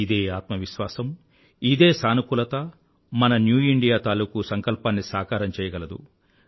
ఇదే ఆత్మవిశ్వాసం ఇదే సానుకూలత మన న్యూ ఇండియా తాలూకూ సంకల్పాన్ని సాకారం చెయ్యగలదు